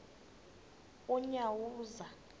unyawuza